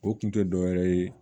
O kun tɛ dɔ wɛrɛ ye